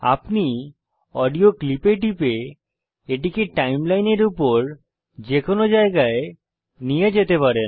আপনি audio clip এ টিপে এটিকে সময় রেখার উপর যে কোনো জায়গায় নিয়ে যেতে পারেন